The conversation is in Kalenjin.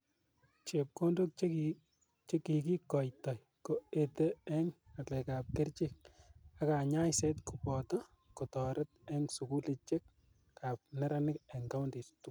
Chepkondok che kikoitoi ko ete ing ngalekap kerchek ak kanyaist kopoto kotoret ong sukulichek ap neranik ing counties tugul.